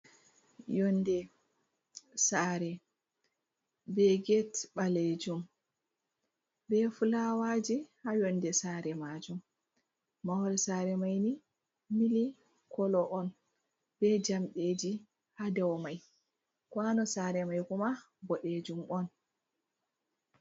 Yonde saare be get ɓalejum be fulawaji ha yonde saare majum, mahol saare maini milik kolo on be jamɗeeji ha dau mai, kwano saare mai kuma boɗejum on.